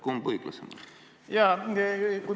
Kumb on õiglasem?